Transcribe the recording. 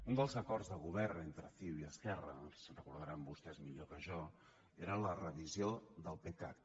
un dels acords de govern entre ciu i esquerra se’n deuen recordar vostès millor que jo era la revisió del pecac